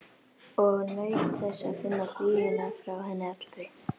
Og naut þess að finna hlýjuna frá henni allri.